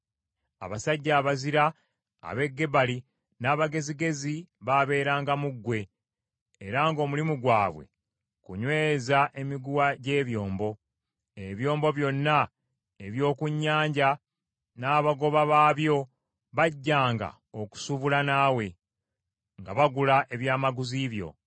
Abasajja abazira ab’e Gebali n’abagezigezi baaberanga mu ggwe, era ng’omulimu gwabwe kunyweza emiguwa gy’ebyombo; ebyombo byonna eby’oku nnyanja n’abagoba baabyo bajjanga okusuubula naawe; nga bagula ebyamaguzi byo.